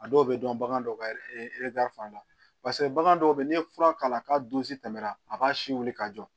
A dɔw bɛ dɔn bagan dɔw ka fan la paseke bagan dɔw be ye n'i ye fura k'a la k'a don si tɛmɛna a b'a si wuli ka jɔ